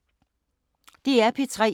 DR P3